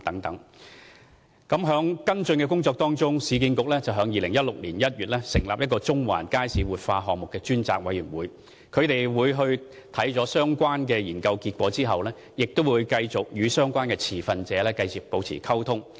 市建局為跟進有關工作，於2016年1月成立中環街市活化項目專責委員會，他們參考相關研究結果後，會繼續與相關持份者保持溝通。